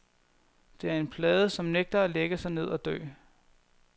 Det er en plade, som nægter at lægge sig ned og dø.